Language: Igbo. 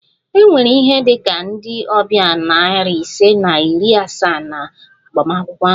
E nwere ihe dị ka ndị ọbịa nari ise na iri asaa na agbamakwụkwọ ahụ